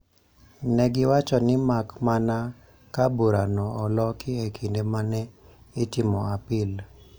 Ne giwacho ni mak mana ka burano oloki e kinde ma ne itimo apil,